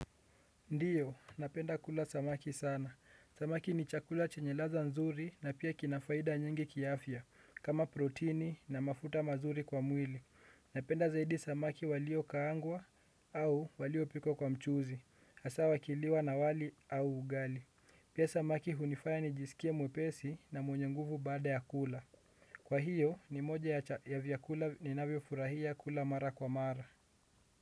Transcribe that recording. Ndiyo, napenda kula samaki sana. Samaki ni chakula chenye ladha nzuri na pia kina faida nyingi kiafya, kama protini na mafuta mazuri kwa mwili. Napenda zaidi samaki waliokaangwa au waliopikwa kwa mchuzi. Asa wakiliwa na wali au ugali. Pia samaki hunifaya nijisikie mwepesi na mwenye nguvu baada ya kula. Kwa hiyo ni moja ya vyakula ninavyofurahia kula mara kwa mara.